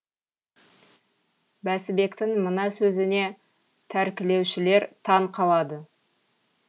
бәсібектің мына сөзіне тәркілеушілер таң қалады